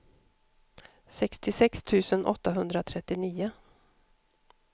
sextiosex tusen åttahundratrettionio